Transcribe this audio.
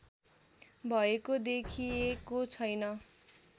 भएको देखिएको छैन